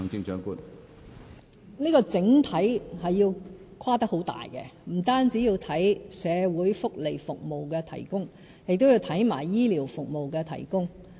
這個整體是要跨得很大的，不僅要檢討社會福利服務的提供，也要檢討醫療服務的提供。